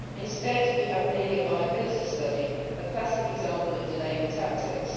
Instead, we have merely a viability study a classic example of delaying tactics.